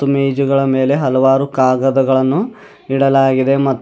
ಮತ್ತು ಮೇಜುಗಳ ಮೇಲೆ ಹಲವಾರು ಕಾಗದಗಳನ್ನು ಇಡಲಾಗಿದೆ ಮಾ--